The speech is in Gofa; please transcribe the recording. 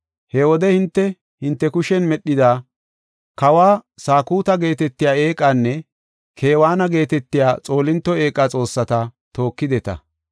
He wode hinte, hinte kushen medhida, ‘Kawa Sakuta’ geetetiya eeqanne ‘Kewaana’ geetetiya xoolinto eeqa xoossata tookideta.